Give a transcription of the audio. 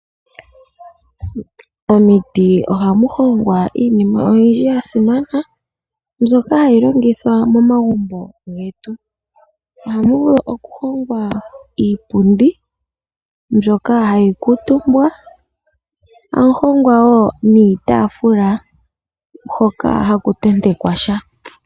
Omiti ohamu hongwa iinima oyindji ya simana, mbyoka hayi longithwa momagumbo getu. Ohamu vulu okuhongwa iipundi mbyoka hayi kuutumbwa, hamu hongwa wo niitaafula hoka haku tentekwa sha.